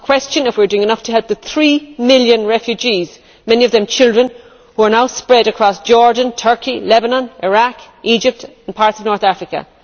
We must question whether we are doing enough to help the three million refugees, many of them children, who are now spread across Jordan, Turkey, Lebanon, Iraq, Egypt and parts of North Africa.